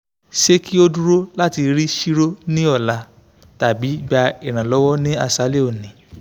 se ki oduro lati ri chiro ni ola tabi gba iranlowo ni asale oni